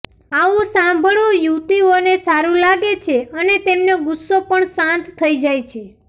આવું સાંભળવું યુવતીઓને સારુ લાગે છે અને તેમનો ગુસ્સો પણ શાંત થઇ જાય છે